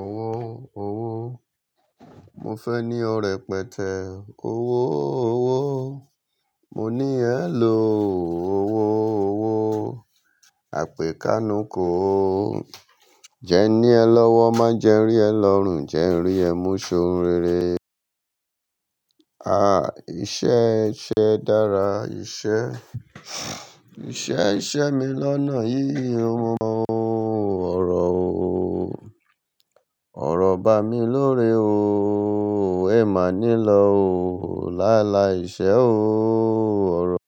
Owó owó, mo fẹ́ ní ọ̀ rẹ́pẹtẹ. Owó owó, mo ní ẹ ló o. Owó owó, àpè kánú ko o. Jẹ ní ẹ lọ́wọ́, má jẹ rí ẹ lọ́rùn, jẹ rí ẹ mú ṣohun rere. Ah, iṣẹ́ ẹ ṣẹ́ dára, iṣẹ́, iṣẹ́ iṣẹ́ mi lọ́nà yíyí o mo ọrọ̀ o. Ọ̀rọ̀ ba mi lórí o, ẹ má nílọ̀ o. Lá lá iṣẹ́ o, ọ̀rọ̀,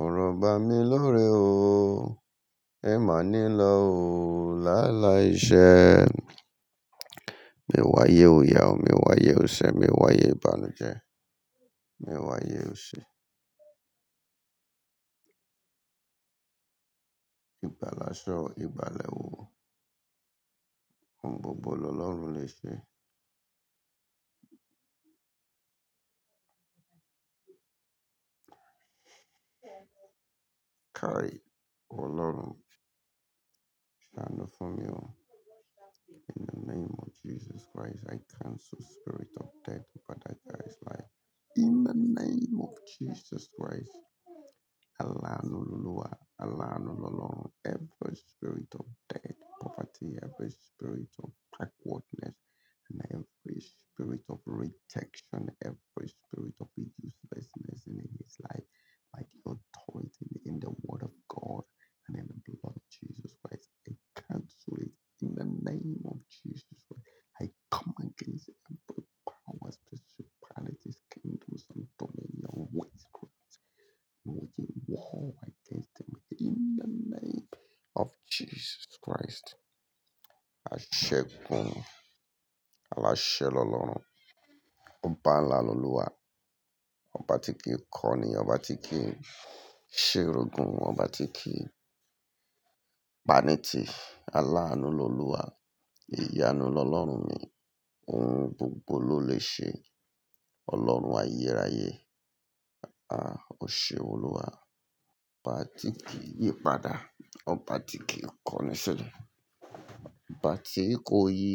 ọ̀rọ̀ ba mi lórí o, ẹ má nílọ̀ o. Lá lá iṣẹ́. Mi wáyé òyà o, mi wáyé ọ̀sẹ̀, mi wáyé ìbànújẹ́, mi wáyé òṣì. Ìgbálasọ, ìgbàlèwu. Ohun gbogbo ni Ọlọ́run lè ṣe. Káí, Ọlọ́run. Stand up for me o. In the name of Jesus Christ, I cancel spirit of death over that guy's life. In the name of Jesus Christ. Aláànú Olúwa, aláànú Ọlọ́run. Every spirit of death, poverty, every spirit of backwardness, and every spirit of rejection, every spirit of uselessness in his life, by the authority in the word of God and in the blood of Jesus Christ, i cancel it in the name of Jesus Christ. I come against it and break powers, principalities, kingdoms and dominion with Christ. I'm waging war against them in the name of Jesus Christ. Aṣẹ gun. Aláṣẹ lólorun. Ọba ńlá lolúwa. Ọba tí kì í kọ́ ni, ọba tí kì í ṣiregùn, ọba tí kì í pani tí. Aláànú lolúwa. Iyánu lọ́lọ́run mi. Ohun gbogbo ló lè ṣe. Ọlọ́run ayérayé. Ah, ọṣẹ olúwa. Ọba tí kì í yípadà. Ọba tí kì í kọ́ni sílẹ̀. Ọba tí kó yi.